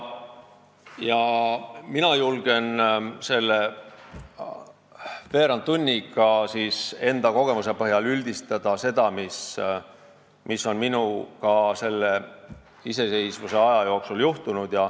Mina julgen selle veerand tunniga enda kogemuse põhjal üldistada seda, mis on minuga selle iseseisvusaja jooksul juhtunud.